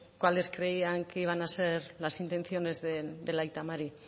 cuáles creían que iban a ser las intenciones del aita mari